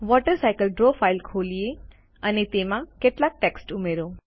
water cycle draw file ખોલીએ અને તેમાં કેટલાક ટેક્સ્ટ ઉમેરો